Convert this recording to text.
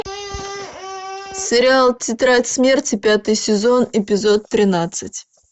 сериал тетрадь смерти пятый сезон эпизод тринадцать